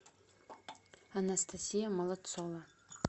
анастасия молодцова